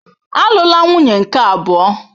Alụla nwunye nke abụọ!